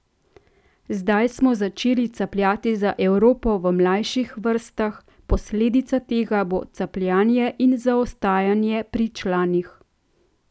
Zdaj smo začeli capljati za Evropo v mlajših vrstah, posledica tega bo capljanje in zaostajanje pri članih.